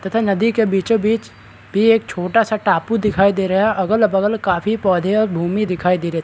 तथा नदी के बीचो-बीच भी एक छोटा-सा टापू दिखाई दे रहा है अगल-बगल काफी पौधे और भूमि दिखाई दे रहे।